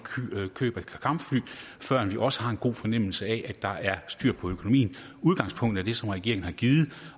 køb af kampfly førend vi også har en god fornemmelse af at der er styr på økonomien udgangspunktet er det som regeringen har givet